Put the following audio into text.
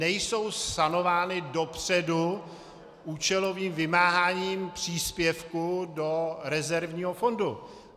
Nejsou sanovány dopředu účelovým vymáháním příspěvku do rezervního fondu.